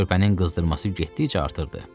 Körpənin qızdırması getdikcə artırdı.